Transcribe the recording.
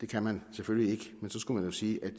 kan man selvfølgelig ikke men så skulle man sige at